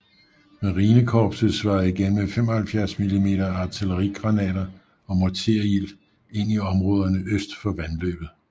Marinekorpset svarede igen med 75 mm artillerigranater og morterild ind i områderne øst for vandløbet